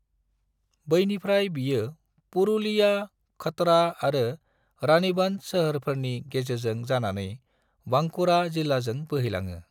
बैनिफ्राय बेयो पुरुलिया, खतरा आरो रानीबंध सोहोरफोरनि गेजेरजों जानानै बांकुरा जिल्लाजों बोहैलाङो।